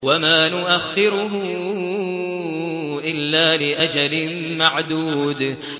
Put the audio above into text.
وَمَا نُؤَخِّرُهُ إِلَّا لِأَجَلٍ مَّعْدُودٍ